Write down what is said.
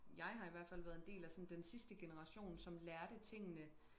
jeg har i hvert fald været en del af sådan den sidste generation som lærte tingene